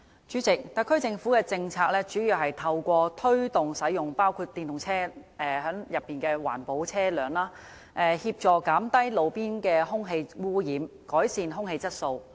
主席，特區政府的政策，主要是透過推動使用環保車輛，包括電動車，協助減低路邊的空氣污染，改善空氣質素。